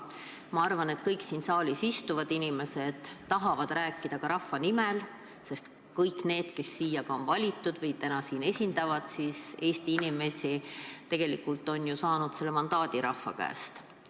Ma arvan, et kõik siin saalis istuvad inimesed tahavad rääkida ka rahva nimel, sest kõik, kes siia on valitud ja esindavad Eesti inimesi, on tegelikult saanud selle mandaadi rahva käest.